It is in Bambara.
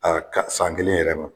Aa ka san kelen yɛrɛ ma